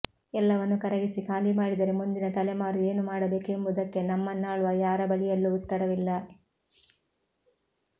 ಎಲ್ಲವನ್ನೂ ಕರಗಿಸಿ ಖಾಲಿ ಮಾಡಿದರೆ ಮುಂದಿನ ತಲೆಮಾರು ಏನು ಮಾಡಬೇಕೆಂಬುದಕ್ಕೆ ನಮ್ಮನ್ನಾಳುವ ಯಾರ ಬಳಿಯಲ್ಲೂ ಉತ್ತರವಿಲ್ಲ